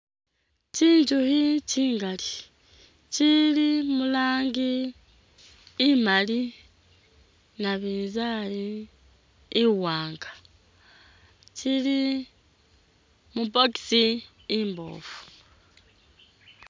Tsinzukhi tsingali tsili mu rangi imaali, nabinzali, iwaanga tsili mu box imboofu